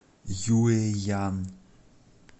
юэян